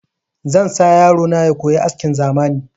Zan sa yaro na ya koyi askin zamani